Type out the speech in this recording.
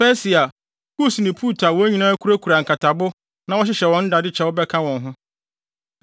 Persia, Kus ne Put a wɔn nyinaa kurakura nkatabo na wɔhyehyɛ wɔn nnadekyɛw bɛka wɔn ho,